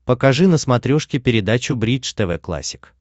покажи на смотрешке передачу бридж тв классик